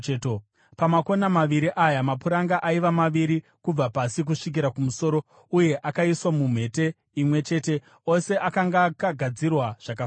Pamakona maviri aya mapuranga aiva maviri kubva pasi kusvikira kumusoro uye akaiswa mumhete imwe chete; ose akanga akagadzirwa zvakafanana.